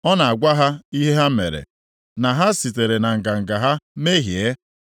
ọ na-agwa ha ihe ha mere, na ha sitere na nganga ha mehie.